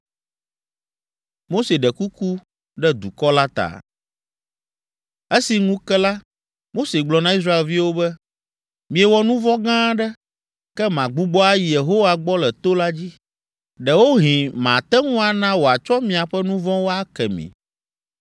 Esi ŋu ke la, Mose gblɔ na Israelviwo be, “Miewɔ nu vɔ̃ gã aɖe, ke magbugbɔ ayi Yehowa gbɔ le to la dzi. Ɖewohĩ mate ŋu ana wòatsɔ miaƒe nu vɔ̃wo ake mi.”